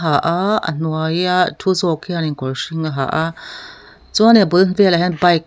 ha a a hnuaia thu zawk hianin kawr hring a ha a chuanin a bul velah hian bike --